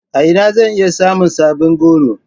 A ina zan iya samun sabbin goro.